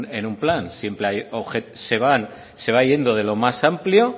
en un plan siempre se va yendo de lo más amplio